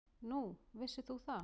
Nú, vissir þú það?